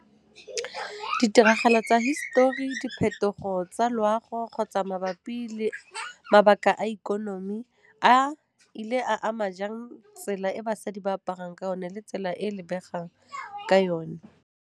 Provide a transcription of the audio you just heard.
Ditiragalo tsa hisetori, diphetogo tsa loago kgotsa mabapi le mabaka a ikonomi a ile a ama jang tsela e basadi ba aparang ka one le tsela e e lebegang ka yone.